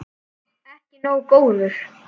Ekki nógu góður!